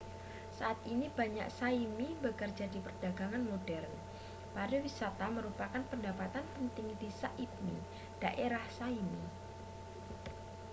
saat ini banyak sã¡mi bekerja di perdagangan modern. pariwisata merupakan pendapatan penting di sã¡pmi daerah sã¡mi